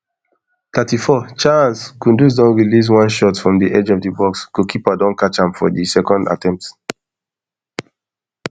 thirty-four chaancekudus don release one shot from di edge of di box goalkeeper don catch am for di second attempt